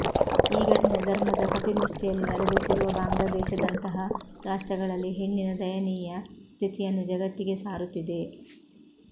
ಈ ಘಟನೆ ಧರ್ಮದ ಕಪಿಮುಷ್ಠಿಯಲ್ಲಿ ನಲುಗುತ್ತಿರುವ ಬಾಂಗ್ಲಾದೇಶದಂತಹ ರಾಷ್ಟ್ರಗಳಲ್ಲಿ ಹೆಣ್ಣಿನ ದಯನೀಯ ಸ್ಥಿತಿಯನ್ನು ಜಗತ್ತಿಗೆ ಸಾರುತ್ತಿದೆ